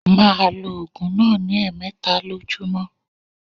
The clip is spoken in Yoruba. Ma lo ògùn náà ní èmeta lójúmó